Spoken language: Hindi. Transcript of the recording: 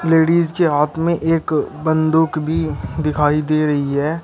लेडिस के हाथ में एक बंदूक भी दिखाई दे रही है।